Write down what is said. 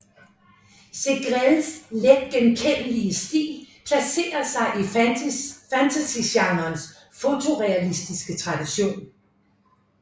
Segrelles letgenkendelige stil placerer sig i fantasygenrens fotorealistiske tradition